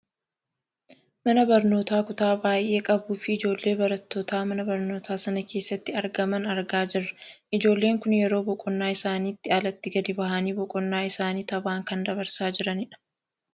Mana barnootaa kutaa baayyee qabuu fi ijoollee barattootaa mana barnootaa sana keessatti argaman argaa jirra ijoolleen kun yeroo boqonnaa isaaniitti alatti gad bahanii boqonnaa isaanii taphaan kan dabarsaa jiranii dha.